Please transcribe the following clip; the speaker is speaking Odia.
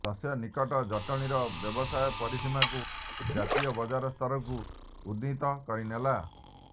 ତତ୍ସନ୍ନିକଟ ଜଟଣୀର ବ୍ୟବସାୟ ପରିସୀମାକୁ ଜାତୀୟ ବଜାର ସ୍ତରକୁ ଉନ୍ନୀତ କରିନେଲା